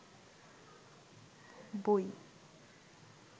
বই